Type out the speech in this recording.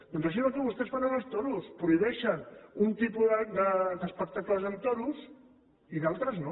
doncs això és el que vostès fan amb els toros prohibeixen un tipus d’espectacles amb toros i d’altres no